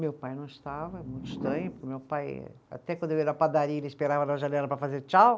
Meu pai não estava, muito estranho, porque meu pai, até quando eu ia na padaria, ele esperava na janela para fazer tchau.